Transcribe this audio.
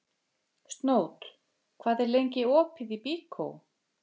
Snót, hvað er lengi opið í Byko?